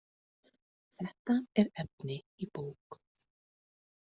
Þetta er efni í bók.